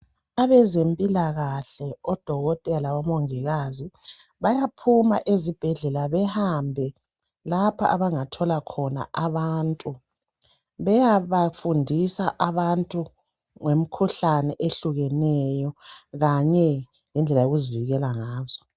Abezempilakahle, odokotela labomongikazi bayaphuma ezibhedlela behambe lapha abangathola khona abantu, beyabafundisa abantu ngemikhuhlane eyehlukeneyo kanye lendlela yokuzivikela ngazo.